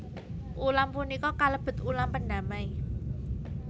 Ulam punika kalebet ulam pendamai